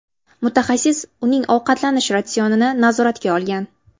Mutaxassis uning ovqatlanish ratsionini nazoratga olgan.